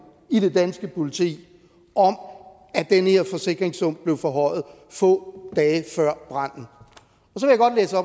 i det danske politi om at den her forsikringssum blev forhøjet få dage før branden